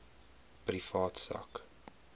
privaat sak